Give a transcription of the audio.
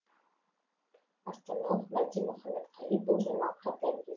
астаналық мәди мұқамедқали бұл жаңалыққа дән